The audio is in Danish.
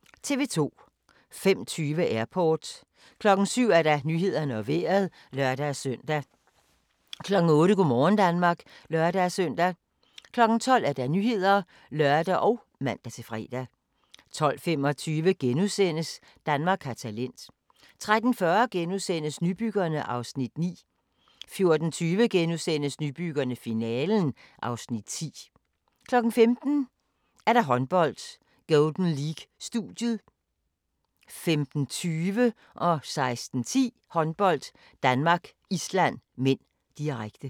05:20: Airport 07:00: Nyhederne og Vejret (lør-søn) 08:00: Go' morgen Danmark (lør-søn) 12:00: Nyhederne (lør og man-fre) 12:25: Danmark har talent * 13:40: Nybyggerne (Afs. 9)* 14:20: Nybyggerne - finalen (Afs. 10)* 15:00: Håndbold: Golden League - studiet 15:20: Håndbold: Danmark-Island (m), direkte 16:10: Håndbold: Danmark-Island (m), direkte